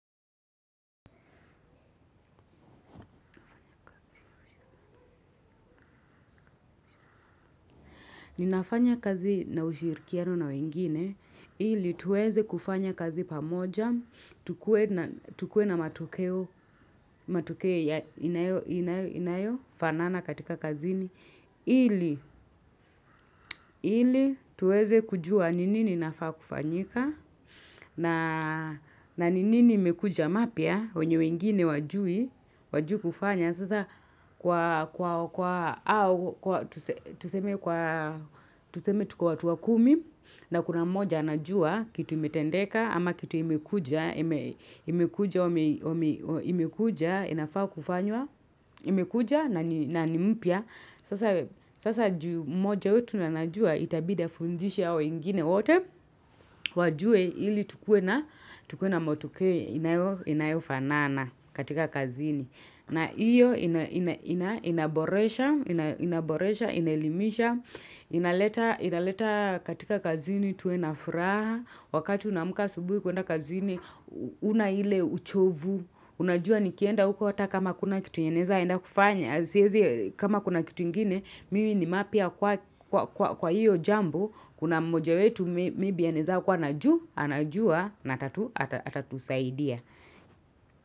Ninafanya kazi na ushirikiano na wengine, ili tuweze kufanya kazi pamoja, tukue na matokeo, matokeo inayo, inayo, inayo, fanana katika kazini, ili, ili tuweze kujua ni nini inafaa kufanyika, na ni nini imekuja mapya, wenye wengine hawajui, hawajui kufanya, sasa kwa au, tuseme tuko watu kumi, na kuna moja anajua kitu imetendeka, ama kitu imekuja, imekuja, inafaa kufanywa, imekuja na ni mpya, sasa juu mmoja wetu anajua itabidi afundishe hao wengine wote, wajue ili tukue na matokeo inayofanana katika kazini. Na hiyo inaboresha, inaelimisha, inaleta katika kazini tuwe na furaha. Wakati unaamka asubuhi kuenda kazini, huna ile uchovu. Unajua nikienda huko hata kama hakuna kitu yenye, naeza enda kufanya. Kama kuna kitu ingine, mimi ni mapya kwa hiyo jambo, kuna mmoja wetu maybe anaeza kuwa anajua, anajua na atatusaidia.